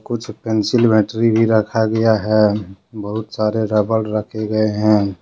कुछ पेंसिल भी रखा गया है बहुत सारे रबर रखे गए हैं।